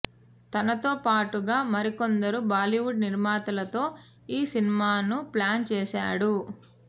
తనతో పాటుగా మరికొందరు బాలీవుడ్ నిర్మాతలతో ఈ సినిమాను ప్లాన్ చేశాడు